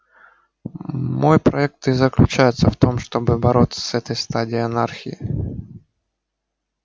мой проект и заключается в том чтобы бороться с этой стадией анархии